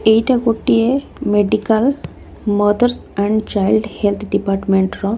ଏଇଟା ଗୋଟିଏ medical mothers and child health ଡିପାଟମେଣ୍ଟର ।